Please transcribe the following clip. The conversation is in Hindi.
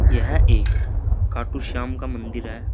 यह एक खाटूश्याम का मंदिर है।